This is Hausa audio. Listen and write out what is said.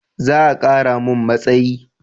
Eh za a kara mun matsayi